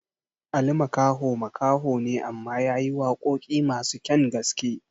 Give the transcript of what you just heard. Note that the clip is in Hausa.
Ali Makaho makaho ne amma yayi waƙoƙi masu kyan gaske